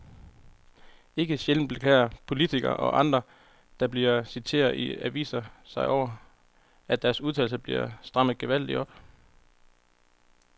Ikke sjældent beklager politikere og andre, der bliver citeret i aviserne sig over, at deres udtalelser bliver strammet gevaldigt op.